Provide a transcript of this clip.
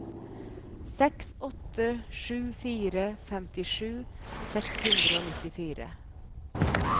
seks åtte sju fire femtisju seks hundre og nittifire